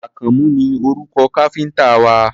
Àkànmú ni orúkọ káfíńtà wa.